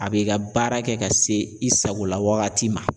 A be i ka baara kɛ ka se i sagola wagati ma